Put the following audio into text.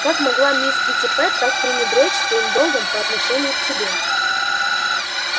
как могла мисс питтипэт так пренебречь своим долгом по отношению к тебе